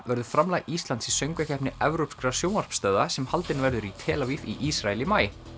verður framlag Íslands í Söngvakeppni evrópskra sjónvarpsstöðva sem haldin verður í tel Aviv í Ísrael í maí